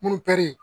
Mun